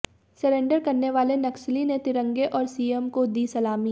surrender करने वाले नक्सली ने तिरंगे और सीएम को दी सलामी